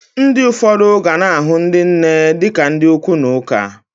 Ndi ụfọdụ gana ahụ ndi nne di ka ndi okwu na ụka.